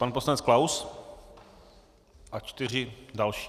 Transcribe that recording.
Pan poslanec Klaus a čtyři další.